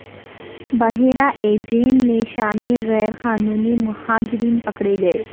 بحیرہ ایجین میں شامی غیر قانونی مہاجرین پکڑے گئے